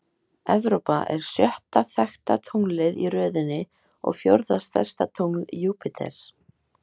Evrópa er sjötta þekkta tunglið í röðinni og fjórða stærsta tungl Júpíters.